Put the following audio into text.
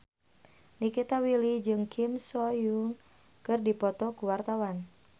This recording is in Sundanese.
Nikita Willy jeung Kim So Hyun keur dipoto ku wartawan